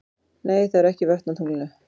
Nei, það eru ekki vötn á tunglinu.